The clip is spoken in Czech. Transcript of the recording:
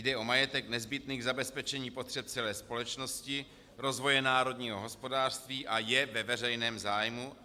Jde o majetek nezbytný k zabezpečení potřeb celé společnosti, rozvoje národního hospodářství a je ve veřejném zájmu,